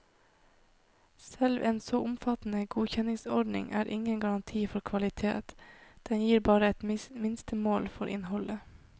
Selv en så omfattende godkjenningsordning er ingen garanti for kvalitet, den gir bare et minstemål for innholdet.